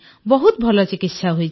ବହୁତ ଭଲ ଚିକିତ୍ସା ହୋଇଛି